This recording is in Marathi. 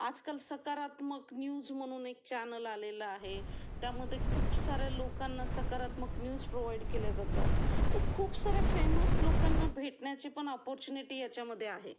आजकाल सकारात्मक न्यूज म्हणून एक चॅनल आलेला आहे, त्यामध्ये खूप सारे लोकांना सकारात्मक न्यूज प्रोवाईड केल्या जातात तर खूप सारे फेमस लोकांना भेटण्याची पण अपॉर्च्युनिटी याच्यामध्ये आहे